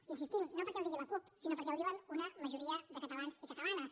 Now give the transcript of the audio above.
hi insistim no perquè ho digui la cup sinó perquè ho diuen una majoria de catalans i catalanes